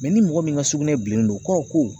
ni mɔgɔ min ka sugunɛ bilennen don o kɔrɔ ye ko